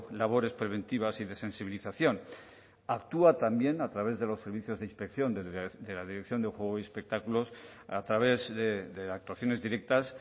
labores preventivas y de sensibilización actúa también a través de los servicios de inspección de la dirección de juego y espectáculos a través de actuaciones directas